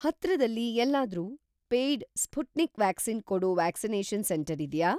‌ಹತ್ರದಲ್ಲಿ ‌ಎಲ್ಲಾದ್ರೂ paid Sputnik vaccine ಕೊಡೋ ವ್ಯಾಕ್ಸಿನೇಷನ್‌ ಸೆಂಟರ್‌ ಇದ್ಯಾ?